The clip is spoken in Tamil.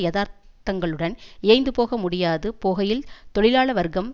யதார்த்தங்களுடன் இயைந்துபோக முடியாது போகையில் தொழிலாள வர்க்கம்